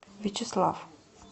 вячеслав